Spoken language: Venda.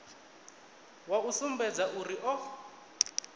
wa u sumbedza uri o